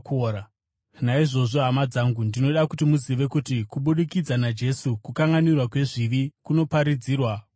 “Naizvozvo, hama dzangu, ndinoda kuti muzive kuti kubudikidza naJesu, kukanganwirwa kwezvivi kunoparidzwa kwamuri.